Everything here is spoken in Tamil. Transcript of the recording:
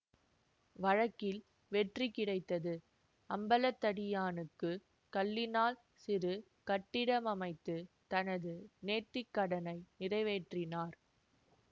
வழக்கில் வெற்றி கிடைத்தது அம்பலத்தடியானுக்கு கல்லினால் சிறு கட்டிடம் அமைத்து தனது நேர்த்திக் கடனை நிறைவேற்றினார்